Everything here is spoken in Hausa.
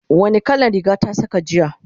wani kalan Riga ta Saka jiya?